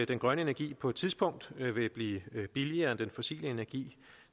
den grønne energi på et tidspunkt vil blive billigere end den fossile energi